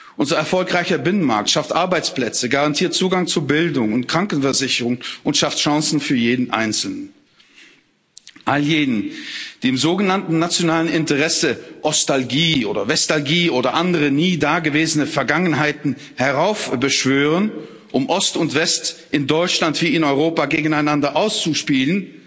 Unser erfolgreicher Binnenmarkt schafft Arbeitsplätze, garantiert Zugang zu Bildung und Krankenversicherung und schafft Chancen für jeden Einzelnen. All jenen, die im sogenannten nationalen Interesse Ostalgie oder Westalgie oder andere nie da gewesene Vergangenheiten heraufbeschwören, um Ost und West in Deutschland wie in Europa gegeneinander auszuspielen,